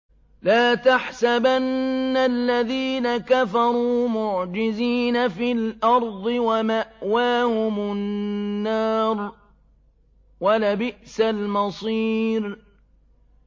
لَا تَحْسَبَنَّ الَّذِينَ كَفَرُوا مُعْجِزِينَ فِي الْأَرْضِ ۚ وَمَأْوَاهُمُ النَّارُ ۖ وَلَبِئْسَ الْمَصِيرُ